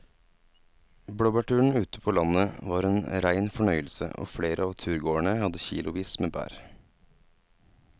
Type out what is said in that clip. Blåbærturen ute på landet var en rein fornøyelse og flere av turgåerene hadde kilosvis med bær.